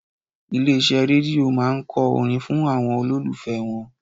Ilé iṣẹ́ Rédíò máa ń kọ orin fún àwọn olólùfẹ́ wọn.